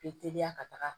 Be teliya ka taga